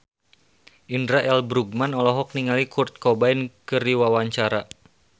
Indra L. Bruggman olohok ningali Kurt Cobain keur diwawancara